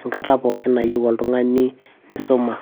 enakata pookin nayieu oltung'ani nisuma.